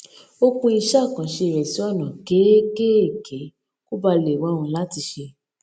ó pín iṣé àkànṣe rẹ sí ònà kéékèèké kó bàa lè rọrùn láti ṣe